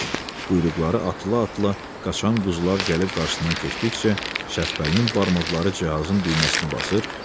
Quyruqları atıla-atıla qaçan quzular gəlib qarşısından keçdikcə Şəppəlinin barmaqları cihazın düyməsinə basılırdı.